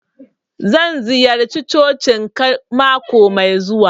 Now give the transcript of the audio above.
Zan ziyarce cocin ka mako mai zuwa.